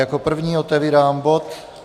Jako první otevírám bod